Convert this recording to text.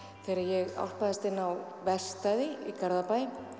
þegar ég álpaðist inn á verkstæði í Garðabæ